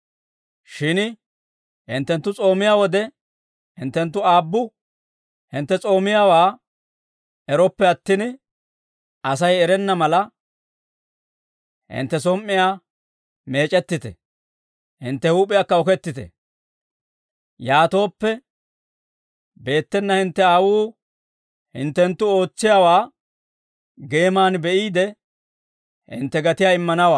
«Shin hinttenttu s'oomiyaa wode, hinttenttu Aabbu hintte s'oomiyaawaa erooppe attin, Asay erenna mala, hintte som"iyaa meec'ettite; hintte huup'iyaakka okettite; yaatooppe, beettena hintte Aawuu hinttenttu ootsiyaawaa geeman be'iide, hintte gatiyaa immanawaa.